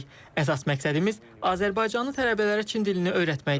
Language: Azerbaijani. Əsas məqsədimiz azərbaycanlı tələbələrə Çin dilini öyrətməkdir.